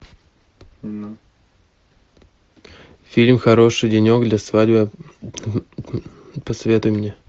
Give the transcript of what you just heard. фильм хороший денек для свадьбы посоветуй мне